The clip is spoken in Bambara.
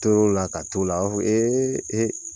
tor'o la ka t'o la a b'a fɔ